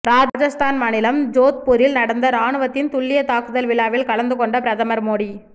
ராஜஸ்தான் மாநிலம் ஜோத்பூரில் நடந்த ராணுவத்தின் துல்லிய தாக்குதல் விழாவில் கலந்து கொண்ட பிரதமர் மோடி